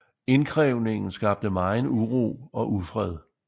Indkrævningen skabte megen uro og ufred